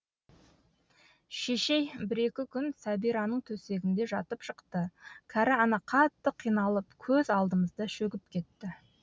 шешей бір екі күн сәбираның төсегінде жатып шықты кәрі ана қатты қиналып көз алдымызда шөгіп кетті